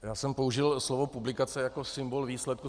Já jsem použil slovo publikace jako symbol výsledku.